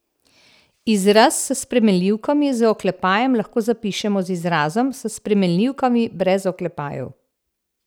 Izraz s spremenljivkami z oklepajem lahko zapišemo z izrazom s spremenljivkami brez oklepajev.